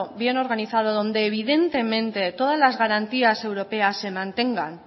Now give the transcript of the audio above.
bien organizado donde evidentemente todas las garantías europeas se mantengan